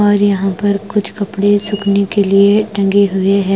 और यहां पर कुछ कपड़े सूखने के लिए टंगे हुए है।